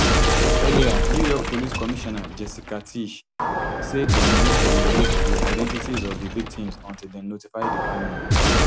earliernew york police commissioner jessica tisch say dem no go release di identities of di victims until dem notify di families